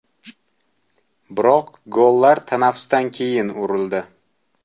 Biroq gollar tanaffusdan keyin urildi.